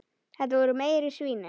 Þetta voru meiri svínin.